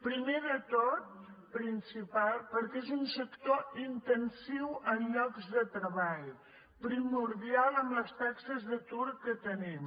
primer de tot principal perquè és un sector intensiu en llocs de treball primordial amb les taxes d’atur que tenim